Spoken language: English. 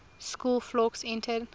school fawkes entered